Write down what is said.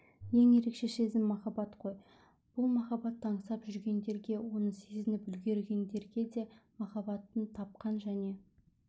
ең ерекше сезім махаббат қой бұл махаббатты аңсап жүргендерге оны сезініп үлгергендерге де махаббатын тапқан және